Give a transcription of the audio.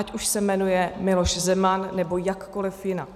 Ať už se jmenuje Miloš Zeman, nebo jakkoliv jinak.